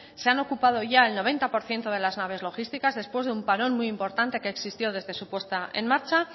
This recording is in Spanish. se han ocupado ya el noventa por ciento de las naves logísticas después de un parón muy importante que existió desde su puesta en marcha